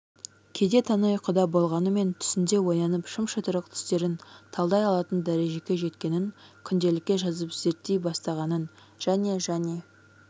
кейде тәні ұйқыда болғанымен түсінде оянып шым-шытырық түстерін талдай алатын дәрежеге жеткенін күнделікке жазып зерттей бастағанын және және